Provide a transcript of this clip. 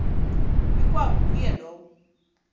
ikwa nguye lowo